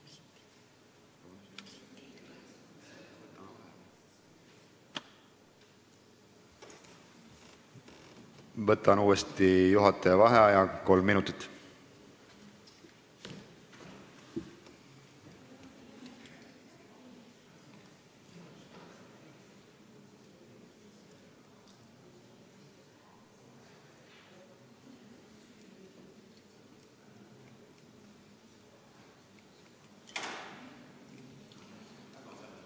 Võtan uuesti juhataja vaheaja kolm minutit.